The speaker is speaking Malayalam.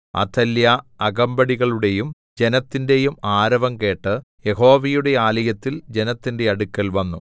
അഥല്യാ അകമ്പടികളുടെയും ജനത്തിന്റെയും ആരവം കേട്ട് യഹോവയുടെ ആലയത്തിൽ ജനത്തിന്റെ അടുക്കൽ വന്നു